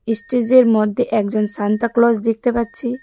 এস্টেজের মধ্যে একজন Santa Claus দেখতে পাচ্ছি।